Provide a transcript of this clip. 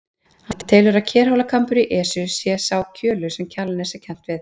Hann telur að Kerhólakambur í Esju sé sá kjölur sem Kjalarnes er kennt við.